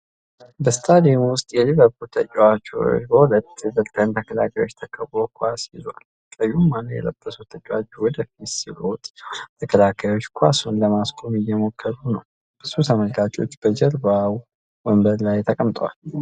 በስታዲየም ውስጥ የሊቨርፑል ተጫዋች በሁለት ኤቨርተን ተከላካዮች ተከቦ ኳስ ይዞዏል። ቀዩን ማሊያ የለበሰው ተጫዋች ወደፊት ሲሮጥ፣ ሁለቱ ተከላካዮች ኳሱን ለማስቆም እየሞከሩ ነው። ብዙ ተመልካቾች በጀርባው ወንበር ላይ ተቀምጠዋል።